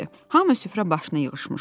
Hamı süfrə başına yığışmışdı.